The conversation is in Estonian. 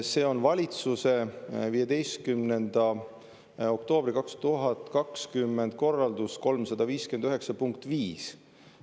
See on valitsuse 15. oktoobri 2020 korralduse 359 punkt 5.